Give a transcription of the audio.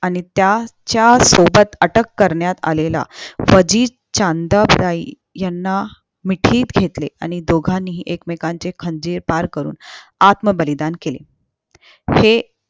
आणि त्याच्या सोबत अटक करण्यात आलेला फजित याना मिठीत घेतले आणि दोघांनीहि एकमेकांचे खंजीर करून आत्म बलिदान केले असे